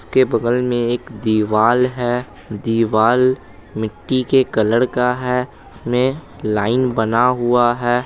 उसके बगल में एक दीवाल है दीवाल मिट्टी के कलर का है उसमें लाइन बना हुआ है।